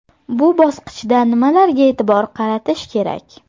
Bu bosqichda nimalarga e’tibor qaratish kerak?